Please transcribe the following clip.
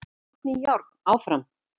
Járn í járn áfram